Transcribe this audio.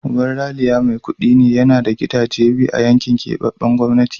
Uban Ralia mai kudi ne, yana da gidaje biyu a yankin keɓaɓɓen gwamnati.